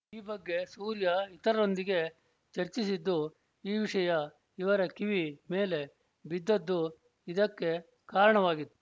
ಈ ಬಗ್ಗೆ ಸೂರ್ಯ ಇತರರೊಂದಿಗೆ ಚರ್ಚಿಸಿದ್ದು ಈ ವಿಷಯ ಇವರ ಕಿವಿ ಮೇಲೆ ಬಿದ್ದದ್ದು ಇದಕ್ಕೆ ಕಾರಣವಾಗಿತ್ತು